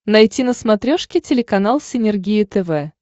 найти на смотрешке телеканал синергия тв